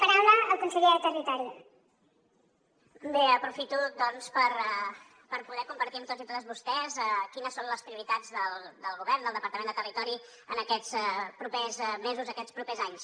aprofito doncs per poder compartir amb tots i totes vostès quines són les prioritats del govern del departament de territori en aquests propers mesos aquests propers anys